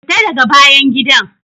Fita daga bayan gidan!